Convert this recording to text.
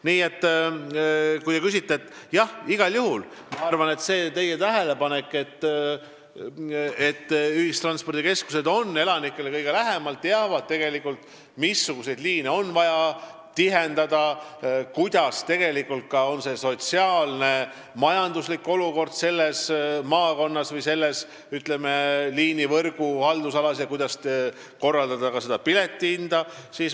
Nii et jah, igal juhul on ühistranspordikeskused kohalikele elanikele kõige lähemal ja nemad teavad tegelikult, missuguseid liine on vaja tihendada, milline on sotsiaalne ja majanduslik olukord konkreetses maakonnas või selles liinivõrgu haldusalas ning kuidas korraldada piletihinda.